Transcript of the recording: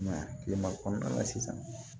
I m'a ye kile ma kɔnɔna na sisan